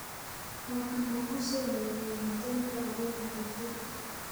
waxaa nalagu soo dhaweeyay hotelka adeer Heshika